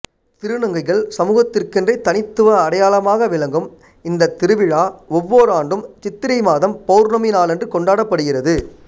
திருநங்கைகள் சமூகத்திற்கென்றே தனித்துவ அடையாளமாக விளங்கும் இந்த திருவிழா ஒவ்வோர் ஆண்டும் சித்திரை மாதம் பௌர்ணமி நாளன்று கொண்டாடப்படுகிறது